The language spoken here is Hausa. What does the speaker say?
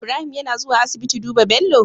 Ibrahim yAna zuwa asibiti duba Bello?